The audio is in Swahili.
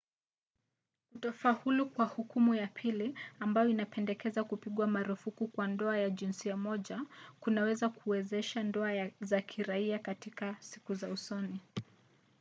kutofaulu kwa hukumu ya pili ambayo inapendekeza kupigwa marufuku kwa ndoa za jinsia moja kunaweza kuwezesha ndoa za kiraia katika siku za usoni